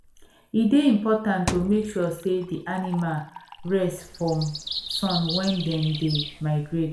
e dey important to make sure say the animal rest from sun when them dey migrate